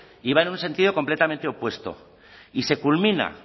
y va en un sentido completamente opuesto y se culmina